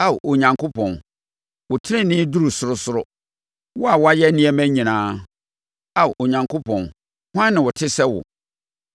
Ao Onyankopɔn, wo tenenee duru sorosoro, wo a woayɛ nneɛma akɛseɛ. Ao Onyankopɔn, hwan na ɔte sɛ wo?